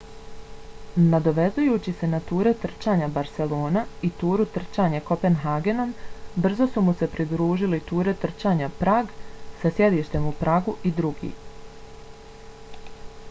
nadovezujući se na ture trčanja barcelona i turu trčanje kopenhagenom brzo su mu se pridružili ture trčanja prag sa sjedištem u pragu i drugi